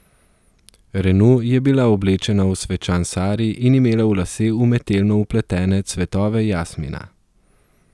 Renu je bila oblečena v svečan sari in imela v lase umetelno vpletene cvetove jasmina.